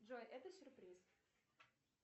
джой это сюрприз